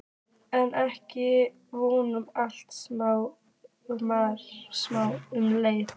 En ekki voru allir sammála um leiðirnar.